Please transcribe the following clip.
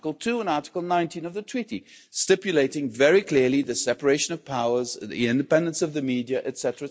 Article 2 and Article 19 of the Treaty stipulate very clearly the separation of powers, the independence of the media, etc.,